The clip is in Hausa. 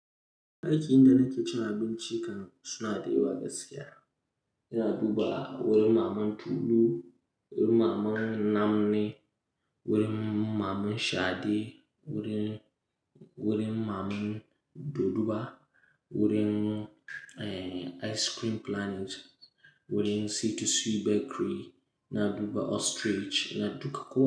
Aikin da nake cin abinci kan suna da yawa gaskiya. Ina duba wurin Maman Tulu, wurin Maman Namni, wurin Maman Shade, wurin, wurin Maman Doduba, wurin, eh, Ice Cream Planet, wurin C2C Bakery, na duba Ostrich, na duka.